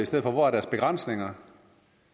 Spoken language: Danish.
ser på hvordan